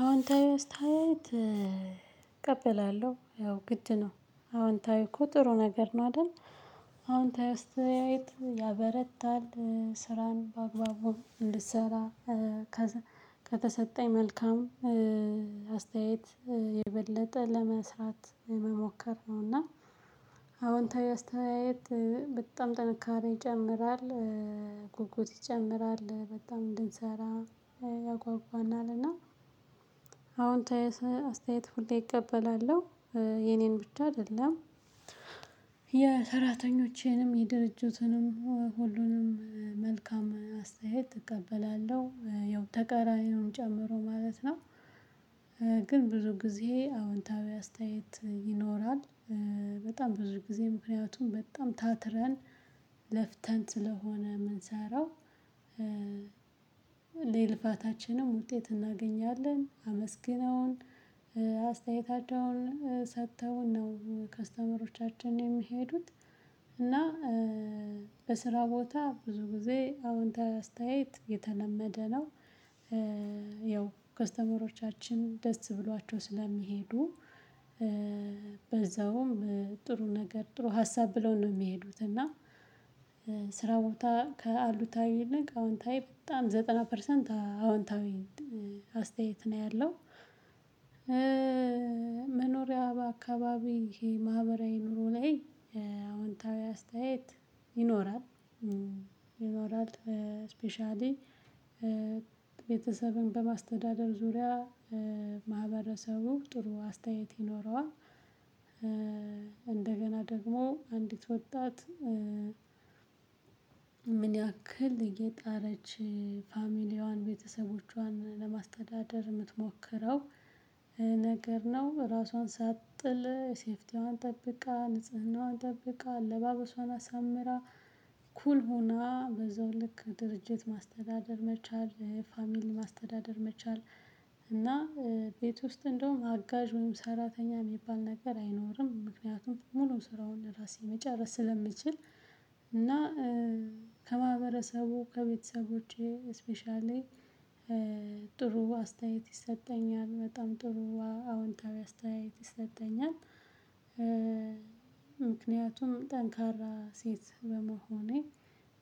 አዎንታዊ አስታይት እቀበላለሁ ያው ግድ ነው አዎንታዊ እኮ ጥሩ ነገር ነው አይደል። አዎንታዊ አስተያየት ያበረታል ስራን በአግባቡ እንድትሰራ። ከተሰጠኝ መልካም አስተያየት የበለጠ ለመስራት መሞከር ነውና። አዎንታዊ አስተያየት በጣም ጥንካሬ ይጨምራል። ጉጉት ይጨምራል በጣም እንድንሰራ ያጓጓናልና። አዎንታዊ አስተያየት ሁሌ እቀበላለሁ። የኔን ብቻ አይደለም። የሰራተኞችንም የድርጅቱንም ሁሉንም መልካም አስተያየት እቀበላለሁ ያው ተቀራኒ ነው የምጨምረው ማለት ነው። ግን ብዙ ጊዜ አዎንታዊ አስተያየት ይኖራል። በጣም ብዙ ጊዜ ምክንያቱም በጣም ታትረን ለፍተን ስለሆነ የምንሰራው። የልፋታችንን ውጤት እናገኛለን አመስግነውን አስተያየታቸውን ሰጥተውን ነው ከስተመሮቻችን የሚሄዱት። እና በስራ ቦታ ብዙ ጊዜ አዎንታዊ አስተያየት የተለመደ ነው። ያው ከስተመሮቻችን ደስ ብሏቸው ስለሚሄዱ። በዛውም ጥሩ ነገር ጥሩ ሀሳብ ብለው ነው የሚሄዱት። እና ስራ ቦታ አሉታዊ አዎንታዊ በጣም ዘጠና ፐርሰንት አዎንታዊ አስተያየት ነው ያለው። መኖሪያ አካባቢ ይሄ ማህበራዊ ኑሮ ላይ አዎንታዊ አስተያየት ይኖራል። ይኖራል። ስፔሻሊ ቤተሰብን በማስተዳደር ዙሪያ ማህበረሰቡ ጥሩ አስተያየት ይኖረዋል። እንደገና ደግሞ አንዲት ወጣት። ምን? ያክል እየጣረች ፋሚሊያዋን ቤተሰቦቿን ለማስተዳደር የምትሞክረው ነገር ነው። ራሷን ሳትጥል ሴፍቲዋን ጠብቃ ንጽህናዋን ጠብቃ አለባበሷን አሳምራ ኩል ሆና በዛው ልክ ድርጅት ማስተዳደር መቻል ፋሚሊ ማስተዳደር መቻል። እና ቤት ውስጥ እንደውም አጋዥ ወይም ሰራተኛ የሚባል ነገር አይኖርም። ምክንያቱም ሙሉ ስራውን ለራሴ መጨረስ ስለምችል። እና ከማህበረሰቡ ከቤተሰቦቼ ስፔሻሊ ጥሩ አስተያየት ይሰጠኛል በጣም ጥሩ አዎንታዊ አስተያየት ይሰጠኛል። ምክንያቱም ጠንካራ ሴት በመሆኔ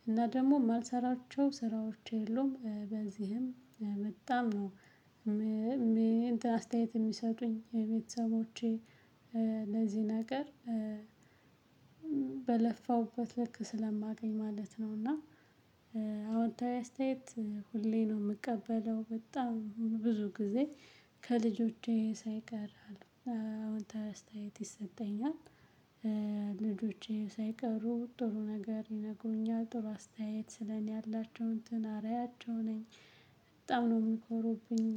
እና ደግሞ የማልሰራቸው ስራዎች የሉም በዚህም በጣም ነው። አስተያየት የሚሰጡኝ ቤተሰቦቼ ለዚህ ነገር በለፋሁበት ልክ ስለማገኝ ማለት ነው። እና አዎንታዊ አስተያየት ሁሌ ነው የምቀበለው በጣም ብዙ ጊዜ ከልጆቼ ሳይቀር አለው አሁን ተስተያየት ይሰጠኛል። ልጆቼ ሳይቀሩ ጥሩ ነገር ይነግሩኛል ጥሩ አስተያየት ስለ እኔ ያላቸው እንትን አዕሪያቸው ነኝ። በጣም ነው የሚኮሩብኝ።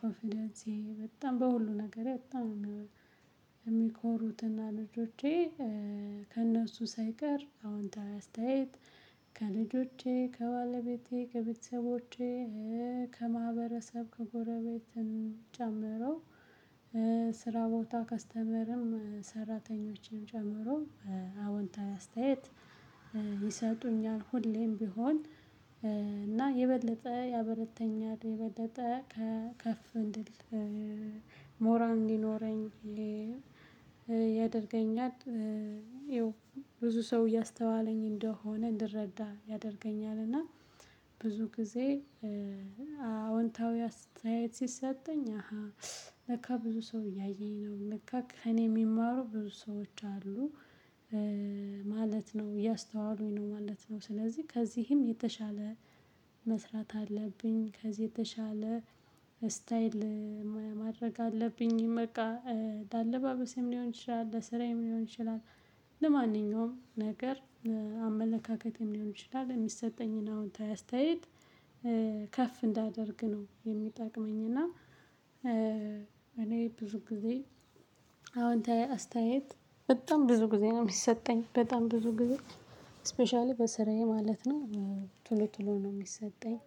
ኮንፊደንሴ በጣም በሁሉ ነገር በጣም የሚኮሩትና ልጆቼ ከእነሱ ሳይቀር አዎንታዊ አስተያየት ከልጆቼ ከባለቤቴ ከቤተሰቦቼ ከማህበረሰብ ከጎረቤትን ጨምሮ። ስራ ቦታ ከስተመርም ሰራተኞችን ጨምሮ አዎንታዊ አስተያየት ይሰጡኛል ሁሌም ቢሆን። እና የበለጠ ያበረተኛል የበለጠ ከፍ እንድል ሞራል እንዲኖረኝ ያደርገኛል። ብዙ ሰው እያስተዋለኝ እንደሆነ እንድረዳ ያደርገኛል እና። ብዙ ጊዜ አዎንታዊ አስተያየት ሲሰጠኝ አሃ ለካ ብዙ ሰው እያየኝ ነው ለካ ከእኔ የሚማሩ ብዙ ሰዎች አሉ። ማለት ነው እያስተዋሉኝ ነው ማለት ነው። ስለዚህ ከዚህም የተሻለ መስራት አለብኝ። ከዚህ የተሻለ ስታየል ማድረግ አለብኝ። በቃ ለአለባበሴም ሊሆን ይችላል ለስራዬም ሊሆን ይችላል። ለማንኛውም ነገር አመለካከትም ሊሆን ይችላል የሚሰጠኝን አዎንታዊ አስተያየት ከፍ እንዳደርግ ነው የሚጠቅመኝና። እኔ ብዙ ጊዜ አዎንታዊ አስተያየት በጣም ብዙ ጊዜ ነው የሚሰጠኝ በጣም ብዙ ጊዜ ስፔሻሊ በስራዬ ማለት ነው። ቶሎ ቶሎ ነው የሚሰጠኝ።